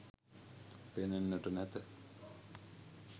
පෙනෙන්නට නැත.